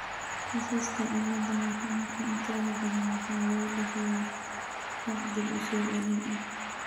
Kiisaska cilada Laronka intooda badan waxa lagu dhaxlaa hab dib-u-soo-celin ah.